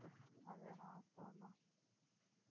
அது என்னவோ வாஸ்தவம் தான்